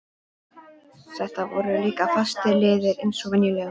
Þetta voru líka fastir liðir eins og venjulega.